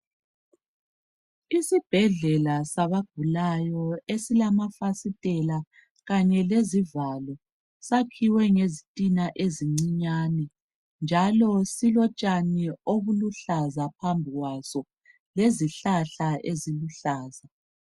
Isibhedlela sabagulayo esilamafasitela kanye lezivalo esilezivalo akhiwe ngezintina ezincinyane njalo silotshani obuluhlaza phambi kwaso lezihlahla eziluhlaza.